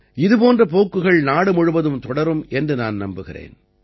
இதுபோன்ற போக்குகள் நாடு முழுவதும் தொடரும் என்று நான் நம்புகிறேன்